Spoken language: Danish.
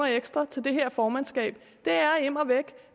ekstra til det her formandskab det er immer væk